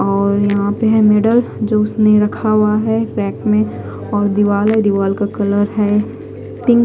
और यहा पे है नीडल जो उसने रखा हुआ है ब्रेक में और दीवार है दीवार का कलर है पिंक ।